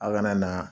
A kana na